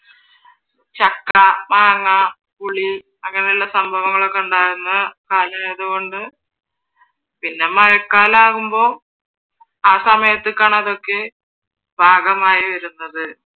ചക്ക, മാങ്ങ, പുളി അങ്ങനെയുള്ള സംഭവങ്ങളൊക്കെ ഉണ്ടാവുന്ന കാലമായത് കൊണ്ട് പിന്നെ മഴക്കാലമാവുമ്പോ ആ സമയത്തേക്കാണ് അതൊക്കെ പാകമായി വരുന്നത്